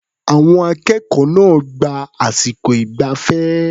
Àwọn akẹ́kọ̀ọ́ náà gba àsìkò ìgbafẹ́.